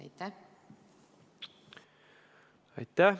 Aitäh!